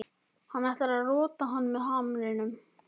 Hann ætlar að rota hann með hamrinum.